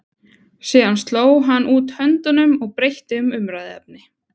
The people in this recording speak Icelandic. Síðan sló hann út höndunum og breytti um umræðuefni.